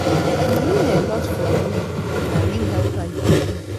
You mean a lot for me, na real helper you be.